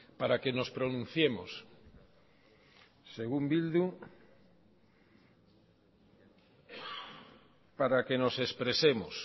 para que nos pronunciemos según bildu para que nos expresemos